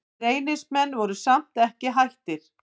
Reynismenn voru samt ekki hættir.